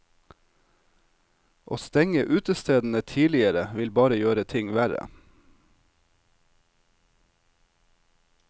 Å stenge utestedene tidligere vil bare gjøre ting verre.